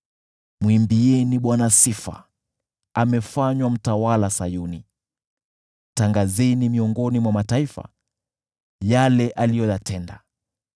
Mwimbieni Bwana sifa, amefanywa mtawala Sayuni, tangazeni miongoni mwa mataifa, yale aliyoyatenda.